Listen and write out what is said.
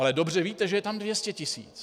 Ale dobře víte, že je tam 200 tisíc.